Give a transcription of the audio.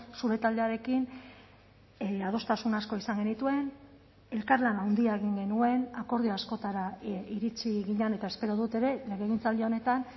zure taldearekin adostasun asko izan genituen elkarlan handia egin genuen akordio askotara iritsi ginen eta espero dut ere legegintzaldi honetan